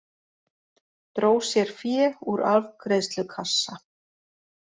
Dró sér fé úr afgreiðslukassa